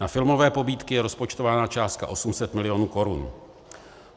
Na filmové pobídky je rozpočtována částka 800 milionů korun.